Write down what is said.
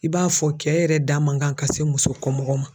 I b'a fɔ kɛ yɛrɛ da man kan ka se muso kɔmɔgɔ ma.